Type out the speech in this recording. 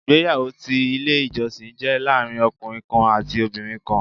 Ìgbéyàwó ti Ilé ìjọsìn jé láàrin ọkùnrin kan àti obìnrin kan